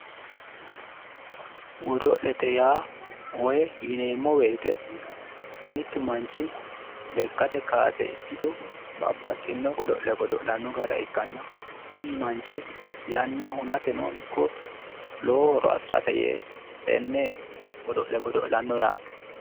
Godo'lete yaa woyi yineemmo woyte mittu manchi lekkate kaase ikkito babbaxxino godo'le godo'lanno gara ikkanna kuni manchi yanna hunateno ikko lowo horo afirate yee tenne godo'le godo'lanno yaate